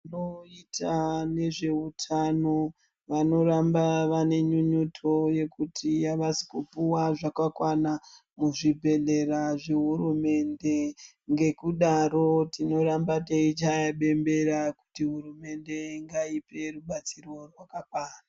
Vanoita nezveutano vanoramba vane nynyuto yekuti abasi kupuwa zvakakwana muzvibhedhlera zvehurumende ngekudaro timoramba teichaya bembera kuti hurumende ngaipe rubatsiro rwakakwana.